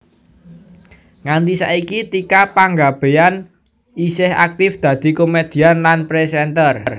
Nganti saiki Tika Panggabean isih aktif dadi komèdian lan présènter